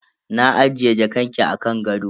Na ajiye jakanki a kan gado.